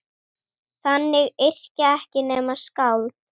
Þannig yrkja ekki nema skáld!